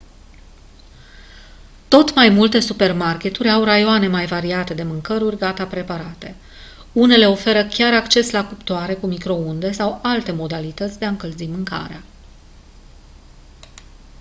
tot mai multe supermarketuri au raioane mai variate de mâncăruri gata preparate unele oferă chiar acces la cuptoare cu microunde sau alte modalități de a încălzi mâncarea